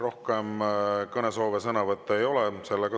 Rohkem kõnesoove ega sõnavõtusoove ei ole.